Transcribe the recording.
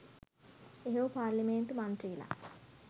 එහෙව් පාර්ලිමේන්තු මන්ත්‍රීලා